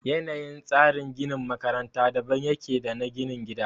Yanayin tsarin ginin makaranta daban ya ke da na ginin gida